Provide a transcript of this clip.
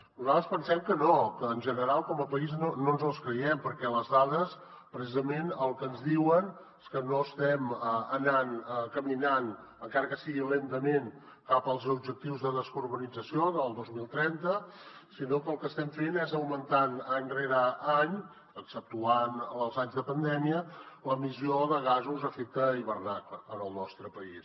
nosaltres pensem que no que en general com a país no ens els creiem perquè les dades precisament el que ens diuen és que no estem caminant encara que sigui lentament cap als objectius de descarbonització del dos mil trenta sinó que el que estem fent és augmentar any rere any exceptuant els anys de pandèmia l’emissió de gasos d’efecte hivernacle en el nostre país